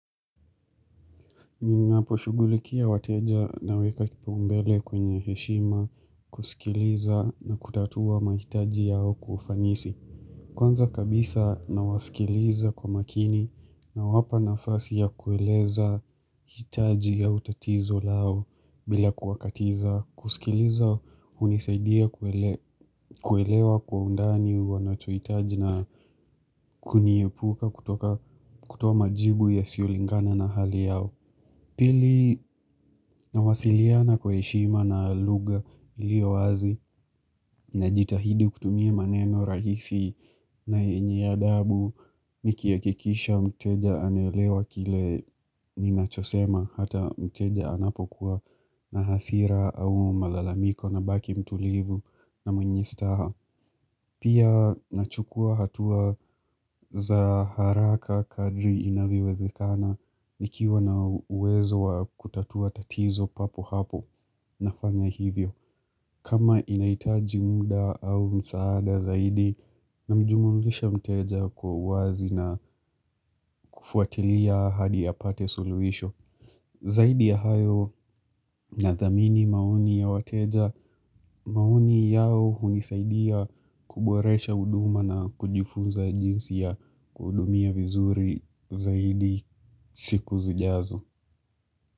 Ninaposhugulikia wateja na weka kipaumbele kwenye heshima kusikiliza na kutatua mahitaji yao kwa ufanisi. Kwanza kabisa na wasikiliza kwa makini huwapa nafasi ya kueleza hitaji ya utatizo lao bila kuwakatiza. Kwanza kabisa na wasikiliza kwa makini na wapa nafasi ya kueleza hitaji la utatizo lao bila kuwakatiza. Pili nawasiliana kwe heshima na lugha ilio wazi na jitahidi kutumie maneno rahisi na yenye adhabu Niki hakikisha mteja anelewa kile ninachosema hata mteja anapokuwa na hasira au malalamiko na baki mtulivu na mwenye staha Pia nachukua hatua za haraka kadri inavyowezekana nikiwa na uwezo wa kutatua tatizo papo hapo na fanya hivyo. Kama inaitaji muda au msaada zaidi na mjumumlisha mteja kwa wazi na kufuatilia hadi ya pate suluhisho. Zaidi ya hayo na thamini maoni ya wateja maoni yao hunisaidia kuboresha huduma na kujifunza jinsi ya kuhudumia vizuri zaidi siku zijazo.